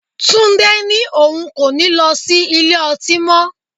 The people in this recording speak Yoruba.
Túndé ní òun kò ní lọ sí ilé-ọtí mó.